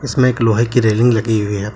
इसमें एक लोहे की रेलिंग लगी हुई है